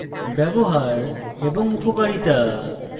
ব্যবহার এবং উপকারিতা